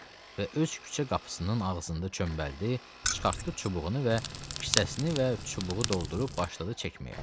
Və öz küçə qapısının ağzında çömbəldi, çıxartdı çubuğunu və kisəsini və çubuğu doldurub başladı çəkməyə.